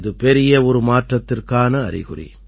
இது பெரிய ஒரு மாற்றத்திற்கான அறிகுறி